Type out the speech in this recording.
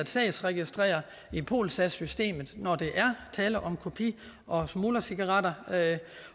sagsregistrere i polsas systemet når der er tale om kopi og smuglercigaretter